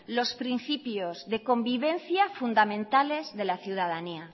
los principios de convivencia fundamentales de la ciudadanía